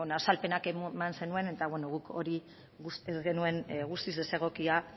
azalpenak eman zituen eta guk hori uste genuen guztiz desegokia